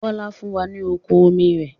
Bọlá fún wa ní oko obì rẹ̀